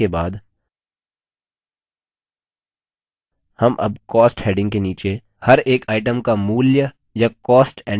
items के serial number enter करने के बाद हम अब cost heading के नीचे हर एक items का मूल्य या cost enter करते हैं